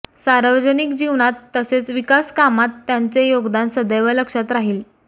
सार्वजनिक जीवनात तसेच विकास कामांत त्यांचे योगदान सदैव लक्षात राहील